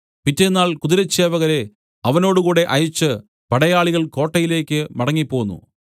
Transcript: പിറ്റെന്നാൾ കുതിരച്ചേവകരെ അവനോടുകൂടെ അയച്ച് പടയാളികൾ കോട്ടയിലേക്ക് മടങ്ങിപ്പോന്നു